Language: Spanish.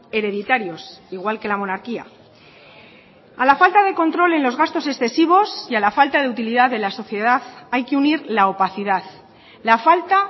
hereditarios igual que la monarquía a la falta de control en los gastos excesivos y a la falta de utilidad de la sociedad hay que unir la opacidad la falta